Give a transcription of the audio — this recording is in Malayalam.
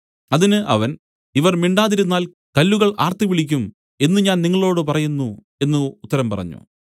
അതിന് അവൻ ഇവർ മിണ്ടാതിരുന്നാൽ കല്ലുകൾ ആർത്തുവിളിക്കും എന്നു ഞാൻ നിങ്ങളോടു പറയുന്നു എന്നു ഉത്തരം പറഞ്ഞു